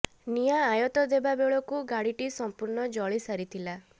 ନିଆଁ ଆୟତ୍ତ ଦେବା ବେଳକୁ ଗାଡ଼ିଟି ସମ୍ପୁର୍ଣ୍ଣ ଜଳି ସାରିଥିଲା